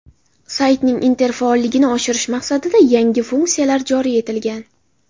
Saytning interfaolligini oshirish maqsadida yangi funksiyalar joriy etilgan.